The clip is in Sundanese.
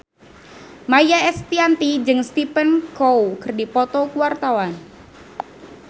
Maia Estianty jeung Stephen Chow keur dipoto ku wartawan